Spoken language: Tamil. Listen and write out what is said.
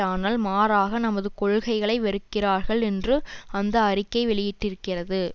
ஆனால் மாறாக நமது கொள்கைகளை வெறுக்கிறார்கள் என்று அந்த அறிக்கை வெளியிட்டிருக்கிறது